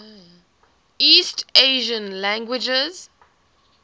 east asian languages